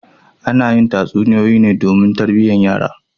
Ana yi tatsunoyoyi ne domin tarbiyantar da yara.